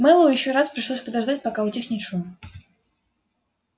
мэллоу ещё раз пришлось подождать пока утихнет шум